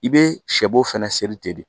I be sɛbo fana te de